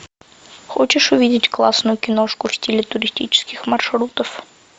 хочешь увидеть классную киношку в стиле туристических маршрутов